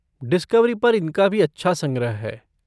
Discovery पर इनका भी अच्छा संग्रह है।